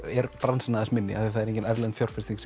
er bransinn aðeins minni því það er engin erlend fjárfesting